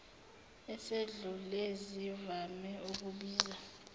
esedlule zivame ukubiza